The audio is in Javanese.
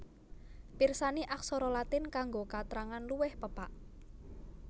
Pirsani Aksara Latin kanggo katrangan luwih pepak